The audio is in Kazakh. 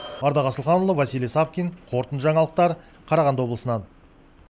ардақ асылханұлы василий савкин қорытынды жаңалықтар қарағанды облысынан